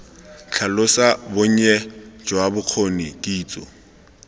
tlhalosa bonnye jwa bokgoni kitso